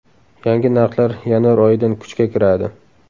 Yangi narxlar yanvar oyidan kuchga kiradi.